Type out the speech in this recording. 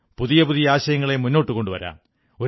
പുതിയ പുതിയ ആശയങ്ങളെ മുന്നോട്ടു കൊണ്ടുവരാം